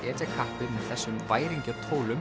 etja kappi með þessum